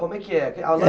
Como é que é? A